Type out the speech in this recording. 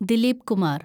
Dileep Kumar